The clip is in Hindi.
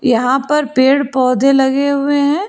यहां पर पेड़ पौधे लगे हुए है।